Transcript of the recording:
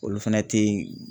Olu fɛnɛ te yen.